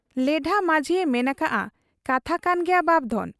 ᱞᱮᱰᱷᱟ ᱢᱟᱹᱡᱷᱤᱭᱮ ᱢᱮᱱ ᱟᱠᱟᱜ ᱟ ᱠᱟᱛᱷᱟ ᱠᱟᱱ ᱜᱮᱭᱟ ᱵᱟᱯᱫᱷᱚᱱ ᱾